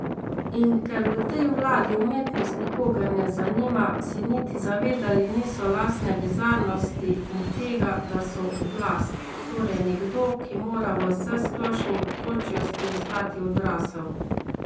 In ker v tej vladi umetnost nikogar ne zanima, se niti zavedali niso lastne bizarnosti in tega, da so oblast, torej nekdo, ki mora v vsesplošni otročjosti ostati odrasel.